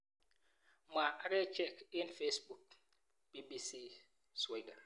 Mwa akachek eng Facebook, BBC Swahili.